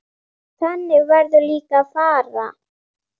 Þannig verður líka að fara.